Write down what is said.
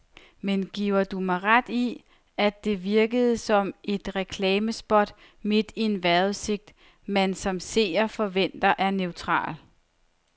Men giver du mig ret i, at det virkede som et reklamespot midt i en vejrudsigt, man som seer forventer er neutral.